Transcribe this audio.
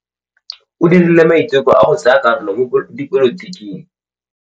O dirile maitekô a go tsaya karolo mo dipolotiking.